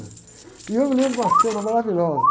E eu me lembro de uma cena maravilhosa.